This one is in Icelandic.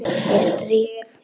Ég strýk.